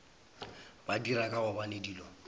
ba dira ka gobane dilo